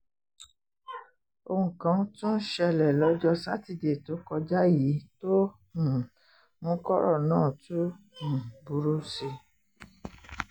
ohun kan tún ṣẹlẹ̀ lọ́jọ́ sátidé tó kọjá yìí tó um mú kọ́rọ̀ náà tún um burú sí i